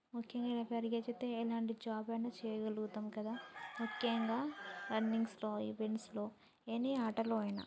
ముక్యంగా ఎ జాబు ఐనా చేయగలుగుతాం కదా ముఖ్యంగా రన్నింగ్ లో ఎని ఆట లో ఐన.